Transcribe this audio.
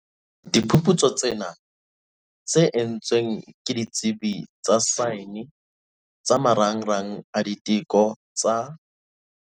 Diphuputsu tsena, tse entsweng ke ditsebi tsa saene tsa Marangrang a Diteko tsa